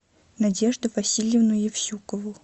надежду васильевну евсюкову